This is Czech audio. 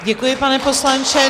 Děkuji, pane poslanče.